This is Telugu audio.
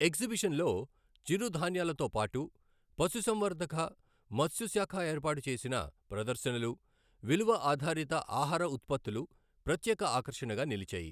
ఎగ్జిబిషన్లో చిరు ధాన్యాలతో పాటు పశుసంవర్ధక, మత్స్యశాఖఏర్పాటు చేసిన ప్రదర్శనలు, విలువ ఆధారిత ఆహార ఉత్పత్తులు ప్రత్యేక ఆకర్షణగా నిలిచాయి.